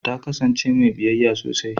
Ta kasance mai biyayya sosai